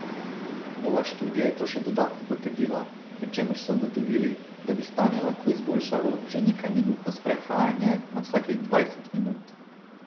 Nova študija je to še dodatno potrdila, pri čemer so ugotovili, da bi stanje lahko izboljšalo že nekajminutno sprehajanje na vsakih dvajset minut.